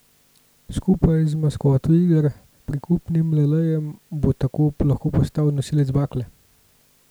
Skupaj z maskoto iger, prikupnim Lelejem, bo tako lahko postal nosilec bakle.